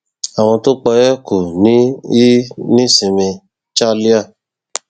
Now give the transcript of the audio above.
àwọn tó pa ẹ kò ní í nísinmi chalya